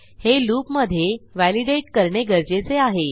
हे लूप मधे validateकरणे गरजेचे आहे